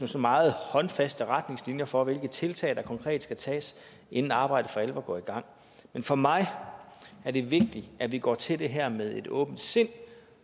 meget håndfaste retningslinjer for hvilke tiltag der konkret skal tages inden arbejdet for alvor går i gang for mig er det vigtigt at vi går til det her med et åbent sind